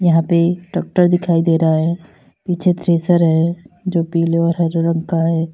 यहां पे ट्रॅक्टर दिखाई दे रहा है पीछे थ्रेसर है जो पीले और हरे रंग का है।